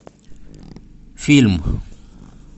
фильм